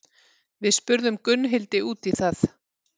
Við spurðum Gunnhildi út í það.